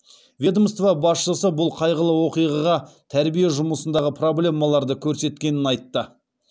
ведомство басшысы бұл қайғылы оқиға тәрбие жұмысындағы проблемаларды көрсеткенін айтты